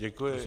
Děkuji.